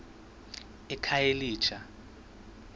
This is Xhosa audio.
ekhayelitsha